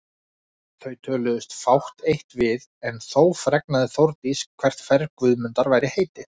Töluðustu þau fátt eitt við en þó fregnaði Þórdís hvert ferð Guðmundar væri heitið.